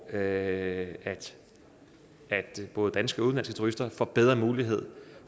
at både danske og udenlandske turister får bedre mulighed